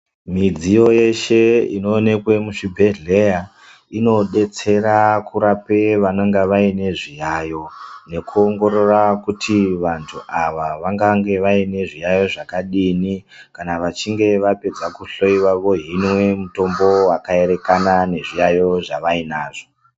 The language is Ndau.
Midziyo yeshe inooneka muzvibhehleya inodetsera kurapa vanenge vainezviyayo nekuongorora kuti vantu ava vanenge vaine zviyaiyo zvakadini kana vachinge vapedza kuhloiwa vohinwa mitombo yakaerekana nezvirwere zvavainazvo.